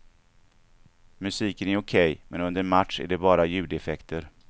Musiken är okej, men under match är det bara ljudeffekter.